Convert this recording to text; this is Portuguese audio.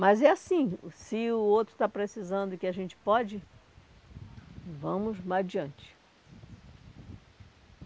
Mas é assim, se o outro está precisando e que a gente pode, vamos adiante.